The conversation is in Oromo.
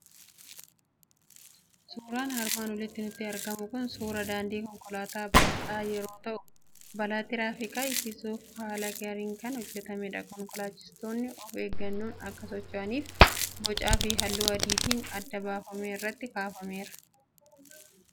Suuraan armaan olitti nutti argamu kun suuraa daandii konkolaataa bal'aa yeroo ta'u, balaa tiraafikaa hir'isuuf haala gaariin kan hojjetamedha. Konkolaachistoonni of eeggannoon akka socho'aniif bocaa fi halluu adiitiin adda baafamee irratti kaafameera.